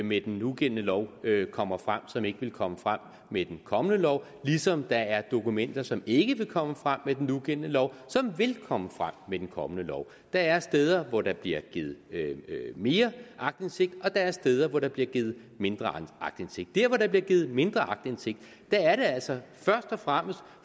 med den nugældende lov kommer frem og som ikke ville komme frem med den kommende lov ligesom der er dokumenter som ikke vil komme frem med den nugældende lov som vil komme frem med den kommende lov der er steder hvor der bliver givet mere aktindsigt og der er steder hvor der bliver givet mindre aktindsigt der hvor der bliver givet mindre aktindsigt er det altså først og fremmest